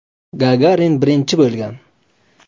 Gagarin birinchi bo‘lgan.